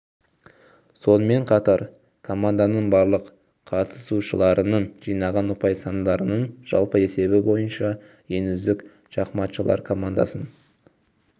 сонымен қатар команданың барлық қатысушыларының жинаған ұпай сандарының жалпы есебі бойынша ең үздік шахматшылар командасын